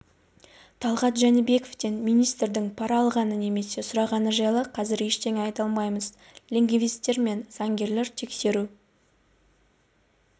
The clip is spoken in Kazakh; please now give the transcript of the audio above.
талғат жәнібековтен министрдің пара алғаны немесе сұрағаны жайлы қазір ештеңе айта алмаймыз лингвистер мен заңгерлер тексеру